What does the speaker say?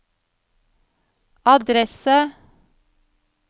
adresse